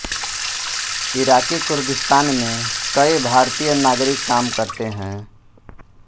Iraqi Kurdistan में कई भारतीय नागरिक काम करते हैं